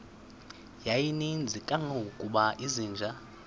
yayininzi kangangokuba izinja